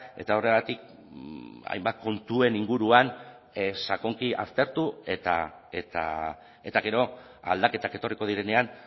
eta horregatik hainbat kontuen inguruan sakonki aztertu eta gero aldaketak etorriko direnean